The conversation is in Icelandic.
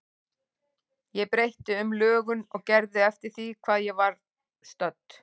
Ég breytti um lögun og gerð eftir því hvar ég var stödd.